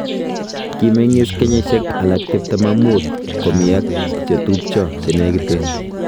Kimegiis kenyisiiek alaak 25 komii ak chetupcho chenegiten.